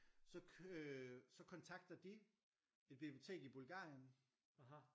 så øh så kontakter de et bibliotek i Bulgarien